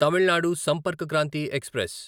Tamil Nadu Sampark Kranti express